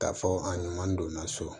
K'a fɔ a ɲuman donna so